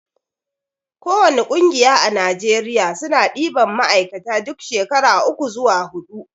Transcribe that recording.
ko wani ƙungiya a najeriya suna ɗiban ma'aikata duk shekara uku zuwa huɗu